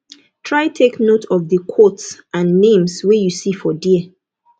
try take note of di quotes and names wey you see for there